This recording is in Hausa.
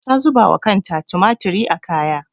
Ta zuba wa kanta tumatiri a kaya.